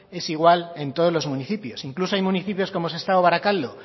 es igual en todos los municipios e incluso hay municipios como sestao o barakaldo